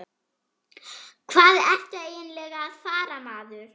Hvað ertu eiginlega að fara, maður?